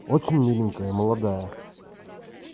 очень миленькая молодая